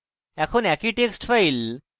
এখন